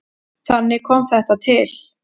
Þannig kom þetta til.